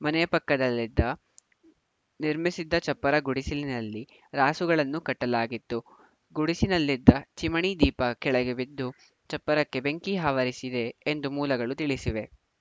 ಮನೆಯ ಪಕ್ಕದಲ್ಲಿದ್ದ ನಿರ್ಮಿಸಿದ್ದ ಚಪ್ಪರ ಗುಡಿಸಲಿನಲ್ಲಿ ರಾಸುಗಳನ್ನು ಕಟ್ಟಲಾಗಿತ್ತು ಗುಡಿಸಿನಲ್ಲಿದ್ದ ಚಿಮಣಿ ದೀಪ ಕೆಳಗೆ ಬಿದ್ದು ಚಪ್ಪರಕ್ಕೆ ಬೆಂಕಿ ಆವರಿಸಿದೆ ಎಂದು ಮೂಲಗಳು ತಿಳಿಸಿವೆ